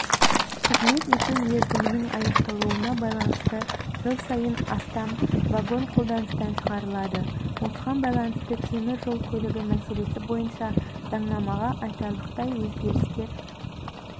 қызмет ету мерзімінің аяқталуына байланысты жыл сайын астам вагон қолданыстан шығарылады осыған байланысты темір жол көлігі мәселесі бойынша заңнамаға айтарлықтай өзгерістер